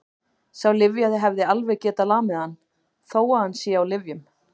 Sá lyfjaði hefði alveg getað lamið hann, þó að hann sé á lyfjum.